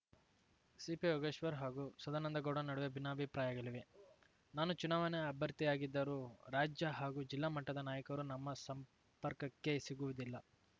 ಸಿಪಿಯೋಗೇಶ್ವರ್ ಹಾಗೂ ಸದಾನಂದಗೌಡ ನಡುವೆ ಭಿನ್ನಾಭಿಪ್ರಾಯಗಳಿವೆ ನಾನು ಚುನಾವಣೆ ಅಭ್ಯರ್ಥಿಯಾಗಿದ್ದರೂ ರಾಜ್ಯ ಹಾಗೂ ಜಿಲ್ಲಾ ಮಟ್ಟದ ನಾಯಕರು ನಮ್ಮ ಸಂಪರ್ಕಕ್ಕೇ ಸಿಗುವುದಿಲ್ಲ